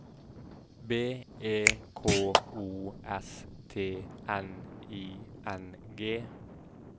B E K O S T N I N G